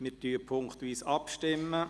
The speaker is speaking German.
Wir stimmen punktweise ab.